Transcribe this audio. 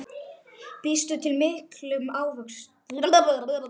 Býstu við miklum átökum?